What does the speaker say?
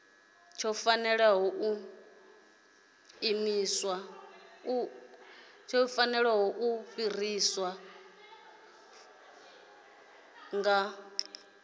u fanela u ḓifara nga